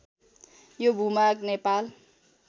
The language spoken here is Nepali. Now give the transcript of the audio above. यो भूभाग नेपाल